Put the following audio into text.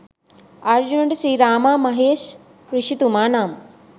අර්ජුනට ශ්‍රී රාමා මහේෂ් ඍෂිතුමා නම්